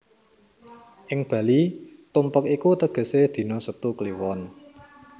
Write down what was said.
Ing Bali tumpek iku tegesé dina Setu kliwon